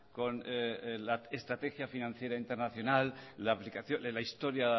con la estrategia financiera internacional la historia